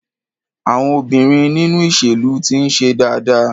Àwọn obìnrin nínú ìṣèlú ti ń ṣe dáadáa.